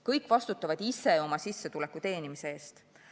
Kõik vastutavad ise oma sissetuleku teenimise eest.